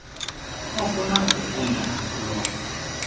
ofuna ukufunda kulo